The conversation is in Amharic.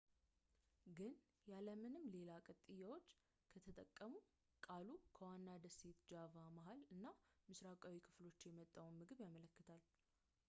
ግን ያለምንም ሌላ ቅጥያዎች ከተጠቀሙ ቃሉ ከዋና ደሴት ጃቫ መሃል እና ምስራቃዊ ክፍሎች የመጣውን ምግብ ያመለክታል